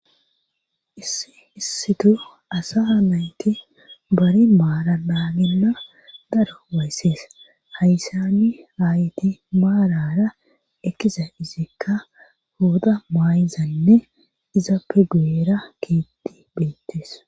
issi issitu asa mayti bari maara daaginna daro wayssees hayssani hayti maarara ekkiza izikka hooda maayizanne iza pegueera keetti beettees